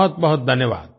बहुत बहुत धन्यवाद